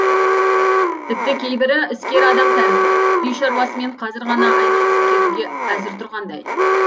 тіпті кейбірі іскер адам тәрізді үй шаруасымен казір ғана айналысып кетуге әзір тұрғандай